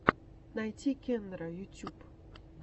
найти кендера ютьюб